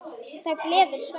Það gleður Svenna.